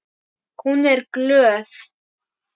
Hún er glöð.